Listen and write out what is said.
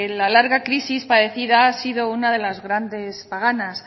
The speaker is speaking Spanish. la larga crisis padecida ha sido una de las grandes paganas